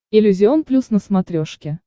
иллюзион плюс на смотрешке